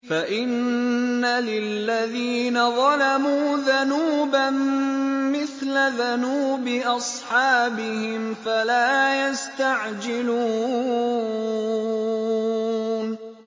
فَإِنَّ لِلَّذِينَ ظَلَمُوا ذَنُوبًا مِّثْلَ ذَنُوبِ أَصْحَابِهِمْ فَلَا يَسْتَعْجِلُونِ